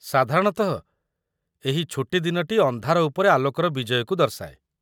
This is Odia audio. ସାଧାରଣତଃ, ଏହି ଛୁଟିଦିନଟି ଅନ୍ଧାର ଉପରେ ଆଲୋକର ବିଜୟକୁ ଦର୍ଶାଏ ।